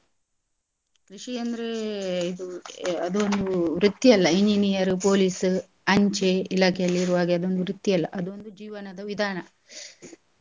ಕೃಷಿ ಅಂದ್ರೆ ಇದು ಅದು ಒಂದು ವೃತ್ತಿಯಲ್ಲ engineer police ಅಂಚೆ ಇಲಾಖೆಯಲ್ಲಿ ಇರುವ ಹಾಗೇ ಅದೊಂದು ವೃತ್ತಿಯಲ್ಲ ಅದೊಂದು ಜೀವನದ ವಿಧಾನ .